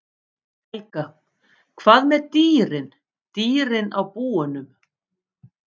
Helga: Hvað með dýrin, dýrin á búunum?